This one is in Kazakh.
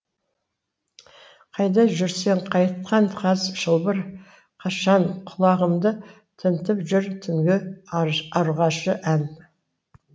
қайда жүрсің қайтқан қаз шылбыр қашаң құлағымды тінтіп жүр түнгі ұрғашы ән